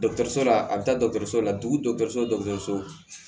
la a bi taa la dugu so